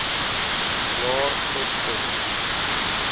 jaar tot op